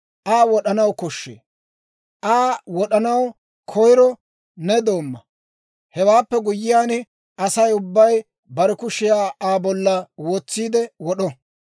Aa wod'anaw koshshee. Aa wod'anaw koyiro ne doomma; hewaappe guyyiyaan, Asay ubbay bare kushiyaa Aa bolla wotsiide wod'o.